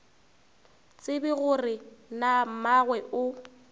tsebe gore na mmagwe o